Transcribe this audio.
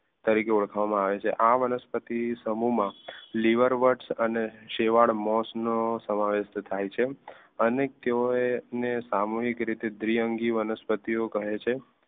તરીકે ઓળખવામાં આવે છે આ વનસ્પતિ સમૂહમાં લીવર વત અને સેવાળ મોસ સમાવેશ થાય છે અનેતેઓને સામૂહિક રીતે દ્વિઅંગી વનસ્પતિઓ કહે છે